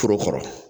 Foro kɔrɔ